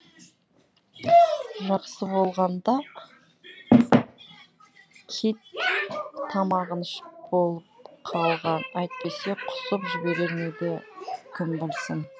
жақсы болғанда кит тамағын ішіп болып қалған әйтпесе құсып жіберер ме еді кім білсін